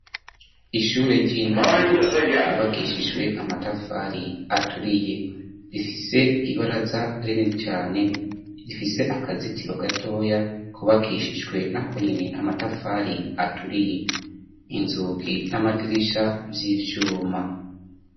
Ishure ry'intango ryubakeshijwe amatafari aturiye rifise ibaraza rinini cane rifise akazitiro gatoya kubakishijwe na konyene amatafari aturiye inzugi n'amadirisha vy'ivyuma.